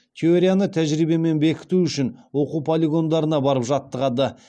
теорияны тәжірибемен бекіту үшін оқу полигондарына барып жаттығады